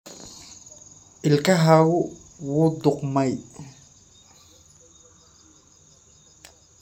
Ilkahaagu wuu qudhmay.